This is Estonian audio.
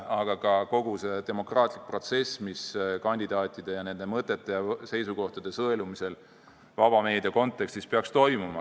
Kogu see protsess peaks olema demokraatlik ja toimuma kandidaatide ja nende mõtete ja seisukohtade sõelumisel vaba meedia kontekstis.